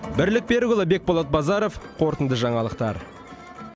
бірлік берікұлы бекболат базаров қорытынды жаңалықтар